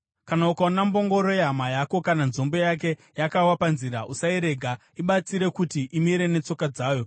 Kana ukaona mbongoro yehama yako kana nzombe yake yakawa panzira, usairega. Ibatsire kuti imire netsoka dzayo.